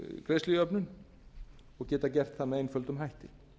greiðslujöfnun og geta gert það með einföldum hætti